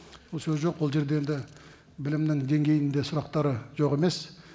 ол сөз жоқ ол жерде енді білімнің деңгейінде сұрақтары жоқ емес